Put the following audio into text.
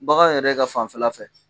Bagan yɛrɛ ka fanfɛla fɛ.